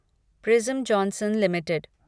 prism Johnson limited